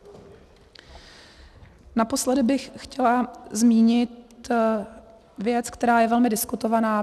Naposledy bych chtěla zmínit věc, která je velmi diskutovaná.